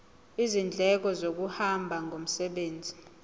izindleko zokuhamba ngomsebenzi